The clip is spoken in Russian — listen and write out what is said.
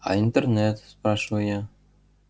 а интернет спрашиваю я